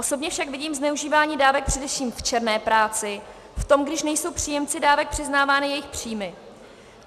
Osobně však vidím zneužívání dávek především v černé práci, v tom, když nejsou příjemci dávek přiznávány jejich příjmy.